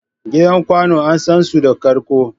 Gidan kwanu an san su da karƙo.